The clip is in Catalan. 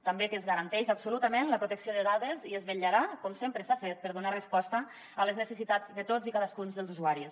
també que es garanteix absolutament la protecció de dades i es vetllarà com sempre s’ha fet per donar resposta a les necessitats de tots i cadascun dels usuaris